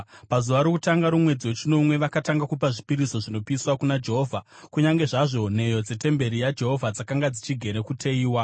Pazuva rokutanga romwedzi wechinomwe vakatanga kupa zvipiriso zvinopiswa kuna Jehovha, kunyange zvazvo nheyo dzetemberi yaJehovha dzakanga dzichigere kuteyiwa.